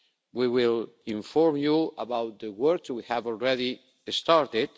We will inform you about the work we have already started.